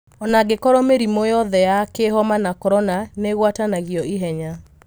Onangĩkorwo mĩrimũ yothe ya kĩhoma na Korona nĩĩguatanagio ihenya.